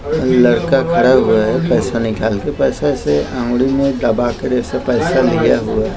लड़का खड़ा हुआ हैं पैसा निकाल के पैसा से अंगुली दबा कर ऐसे पैसा लिया हुआ हैं ।